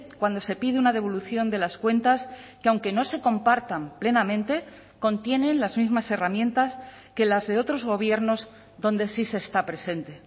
cuando se pide una devolución de las cuentas que aunque no se compartan plenamente contienen las mismas herramientas que las de otros gobiernos donde sí se está presente